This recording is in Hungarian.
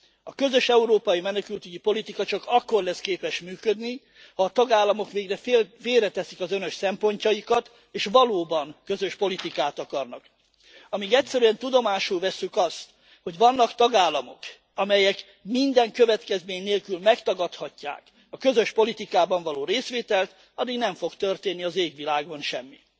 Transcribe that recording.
A közös európai menekültügyi politika csak akkor lesz képes működni, ha a tagállamok végre félreteszik az önös szempontjaikat, és valóban közös politikát akarnak. Amíg egyszerűen tudomásul vesszük azt, hogy vannak tagállamok, amelyek minden következmény nélkül megtagadhatják a közös politikában való részvételt, addig nem fog történni az égvilágon semmi.